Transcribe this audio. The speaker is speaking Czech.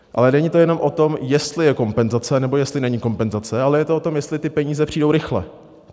Ale není to jenom o tom, jestli je kompenzace nebo jestli není kompenzace, ale je to o tom, jestli ty peníze přijdou rychle.